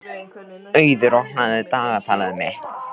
Auður, opnaðu dagatalið mitt.